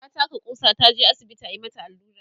ta taka ƙusa, taje asibiti ayi mata Alura